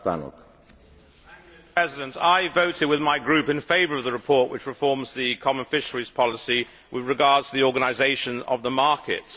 Mr President, I voted with my group in favour of the report which reforms the Common Fisheries Policy with regard to the organisation of the markets.